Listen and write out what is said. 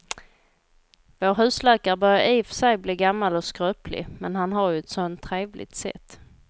Vår husläkare börjar i och för sig bli gammal och skröplig, men han har ju ett sådant trevligt sätt!